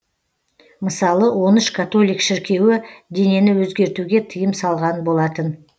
мысалы он үш католик шіркеуі денені өзгертуге тыйым салған болатын